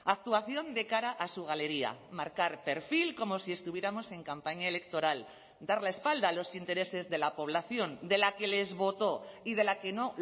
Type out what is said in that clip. actuación de cara a su galería marcar perfil como si estuviéramos en campaña electoral dar la espalda a los intereses de la población de la que les votó y de la que no